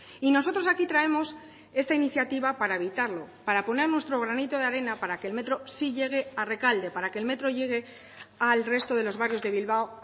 y nosotros aquí traemos esta iniciativa para evitarlo para poner nuestro granito de arena para que el metro sí llegue a rekalde para que el metro llegue al resto de los barrios de bilbao